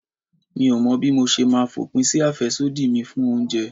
Mi ò mọ̀ bí mo ṣe máa fòpin sí àfẹ́sódì mi fún oúnjẹ.